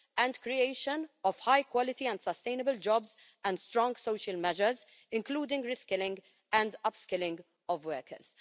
and creation of high quality and sustainable jobs and strong social measures, including reskilling and upskilling of workers.